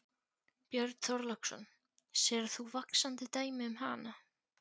Björn Þorláksson: Sérð þú vaxandi dæmi um hana?